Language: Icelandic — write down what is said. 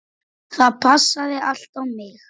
Það passaði allt á mig.